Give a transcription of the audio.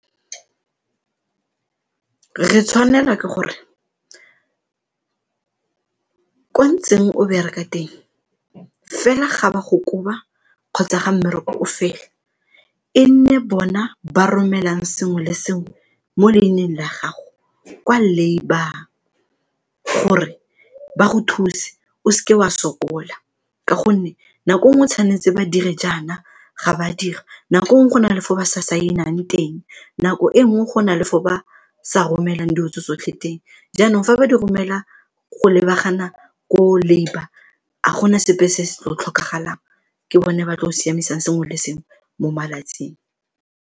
Re tshwanela ke gore kwa ntseng o bereka teng fela ga ba go koba kgotsa ga mmereko o fela, e nne bona ba romelang sengwe le sengwe mo leineng la gago kwa labour gore ba go thuse o seke wa sokola ka gonne nako nngwe tshwanetse ba dire jaana ga ba dira, nako nngwe go na le fo ba sa saenang teng, nako e nngwe go na le fo ba sa romelang dilo tse tsotlhe teng jaanong fa ba di romela go lebagana ko labour ga gona sepe se se tlo tlhokagalang, ke bone ba tlo siamisang sengwe le sengwe mo malatsing.